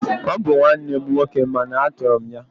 Ọ bụ nwanne m nwoke mana a tọrọ m ya